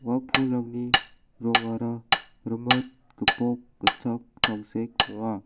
ua pulrangni rongara rimit gipok gitchak tangsek ong·a.